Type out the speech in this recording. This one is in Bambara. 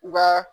Wa